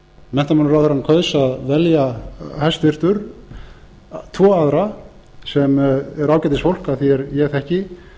menntamálaráðherra hæstvirtur kaus að velja tvo aðra sem eru ágætisfólk að því er ég þekki